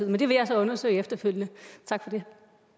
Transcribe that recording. men det vil jeg så undersøge efterfølgende tak for det